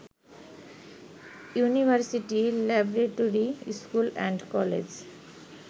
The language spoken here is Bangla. ইউনিভার্সিটি ল্যাবরেটরি স্কুল অ্যান্ড কলেজে